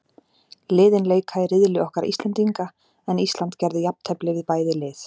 Liðin leika í riðli okkar Íslendinga, en Ísland gerði jafntefli við bæði lið.